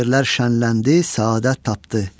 o yerlər şənləndi, səadət tapdı.